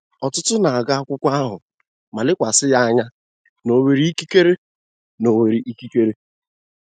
Ọtụtụ n'agụ akwụkwo ahụ ma lekwasi ya anya n'onwere ikekere. n'onwere ikekere.